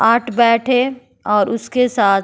आठ बैट है और उसके साथ --